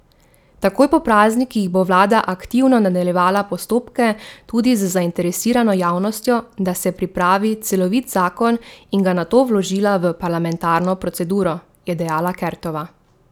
Takoj po praznikih bo vlada aktivno nadaljevala postopke tudi z zainteresirano javnostjo, da se pripravi celovit zakon in ga nato vložila v parlamentarno proceduro, je dejala Kertova.